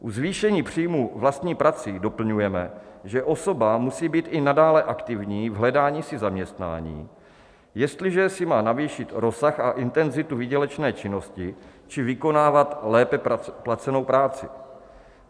U zvýšení příjmu vlastní prací doplňujeme, že osoba musí být i nadále aktivní v hledání si zaměstnání, jestliže si má navýšit rozsah a intenzitu výdělečné činnosti či vykonávat lépe placenou práci.